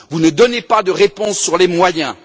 Vous ne donnez pas de réponse sur les moyens.